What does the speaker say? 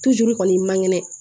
juru kɔni man kɛnɛ